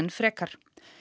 frekar